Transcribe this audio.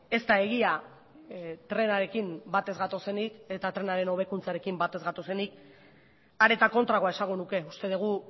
ez da egia trenarekin bat ez gatozenik eta trenaren hobekuntzarekin bat ez gatozenik are eta kontrakoa esango nuke uste dugu